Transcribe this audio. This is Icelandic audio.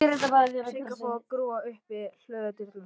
Sigga fór að grúfa upp við hlöðudyrnar.